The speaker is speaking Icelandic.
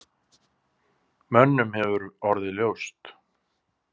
Mönnum hefur orðið ljóst.